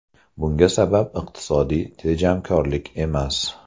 Bunga sabab iqtisodiy tejamkorlik emas.